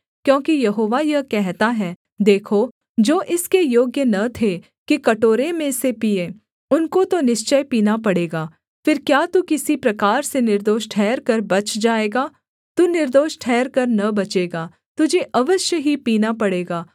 क्योंकि यहोवा यह कहता है देखो जो इसके योग्य न थे कि कटोरे में से पीएँ उनको तो निश्चय पीना पड़ेगा फिर क्या तू किसी प्रकार से निर्दोष ठहरकर बच जाएगा तू निर्दोष ठहरकर न बचेगा तुझे अवश्य ही पीना पड़ेगा